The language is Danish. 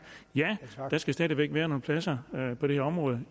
ja der skal stadig væk være nogle pladser på det her område